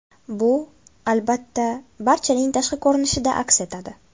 Bu, albatta, barchaning tashqi ko‘rinishida aks etadi.